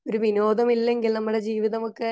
ഒരു വിനോദമില്ലങ്കിൽ നമ്മുടെ ജീവിതമൊക്കെ